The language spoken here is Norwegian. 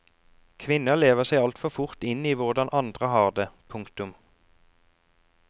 Kvinner lever seg altfor fort inn i hvordan andre har det. punktum